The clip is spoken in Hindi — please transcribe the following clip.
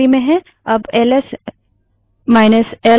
अब एल एसएल चलाएँ